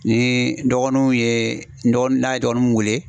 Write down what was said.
Ni dɔgɔninw ye dɔgɔninw n'a ye dɔgɔninw wele